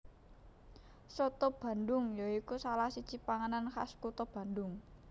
Soto Bandhung ya iku salah siji panganan khas kutha Bandhung